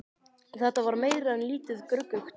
Þetta var meira en lítið gruggugt.